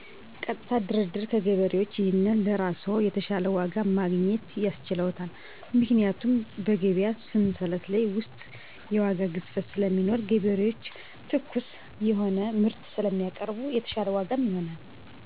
በገበያው ከገበሬ ቀጥታ የማገኘው ነገር የምወደው ነው። የምጠላው ገበያው ላይ ግርግር፤ ግፊት ነው። አስጨናቂ ይሆንብኛል። አዎ ዋጋው የተሻለ ነው። ሁሉም ነጋዴ ዘመናዊ አከፋፈል ቢጠቀም የተሻለ ያደርገዋል።